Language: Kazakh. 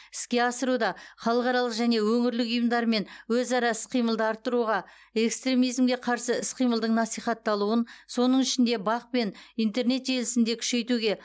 іске асыруда халықаралық және өңірлік ұйымдармен өзара іс қимылды арттыруға экстремизмге қарсы іс қимылдың насихатталуын соның ішінде бақ пен интернет желісінде күшейтуге